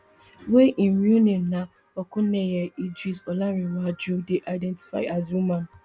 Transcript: wey im real name na okuneye idris olarenewaju dey identify as woman